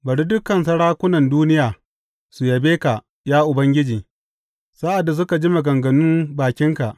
Bari dukan sarakunan duniya su yabe ka, ya Ubangiji, sa’ad da suka ji maganganun bakinka.